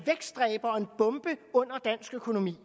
bombe under dansk økonomi